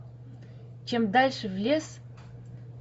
чем дальше в лес